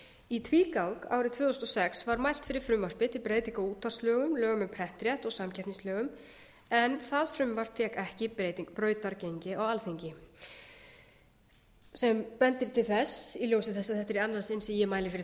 í tvígang árið tvö þúsund og sex var mælt fyrir frumvarpi um breytingu á útvarpslögum lögum um prentrétt og samkeppnislögum en það frumvarp fékk ekki brautargengi á alþingi sem bendir til þess í ljósi þess að þetta er í annað sinn sem ég mæli fyrir